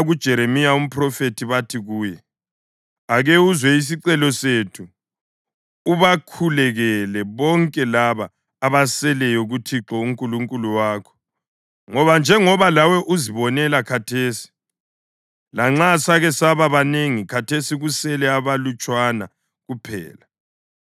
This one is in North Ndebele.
kuJeremiya umphrofethi bathi kuye, “Ake uzwe isicelo sethu ubakhulekele bonke laba abaseleyo kuThixo uNkulunkulu wakho. Ngoba njengoba lawe uzibonela khathesi, lanxa sake saba banengi khathesi kusele abalutshwana kuphela.